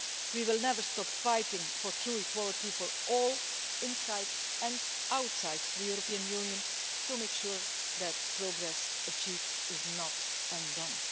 We will never stop fighting for true equality for all, inside and outside the European Union, to make sure that progress achieved is not undone.